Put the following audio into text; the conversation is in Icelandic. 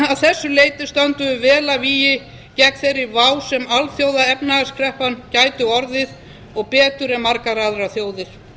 þessu leyti stöndum við vel að vígi gegn þeirri vá sem alþjóðaefnahagskreppa gæti orðið og betur en margar aðrar þjóðir